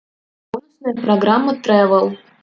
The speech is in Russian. бонусная программа тревэл